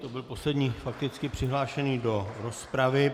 To byl poslední fakticky přihlášený do rozpravy.